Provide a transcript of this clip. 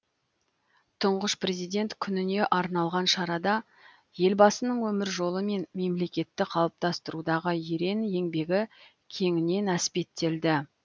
тұңғыш президент күніне арналған шарада елбасының өмір жолы мен мемлекетті қалыптастырудағы ерен еңбегі кеңінен әспеттелді